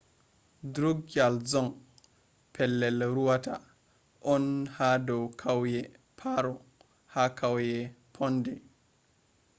drukgyal dzong pelell rewataa on haa dow kauyee paro ha kauye phondey